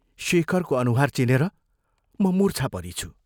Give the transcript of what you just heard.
शेखरको अनुहार चिनेर म मूर्छा परिछु।